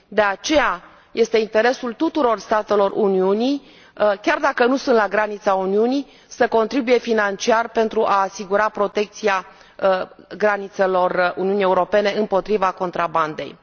De aceea, este interesul tuturor statelor Uniunii, chiar dacă nu sunt la granița Uniunii, să contribuie financiar pentru a asigura protecția granițelor Uniunii Europene împotriva contrabandei.